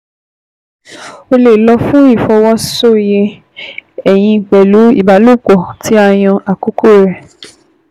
O lè lọ fún ìfọwọ́soyè ẹyin pẹ̀lú ìbálòpọ̀ tí a yàn àkókò rẹ̀